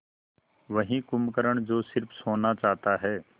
वही कुंभकर्ण जो स़िर्फ सोना चाहता है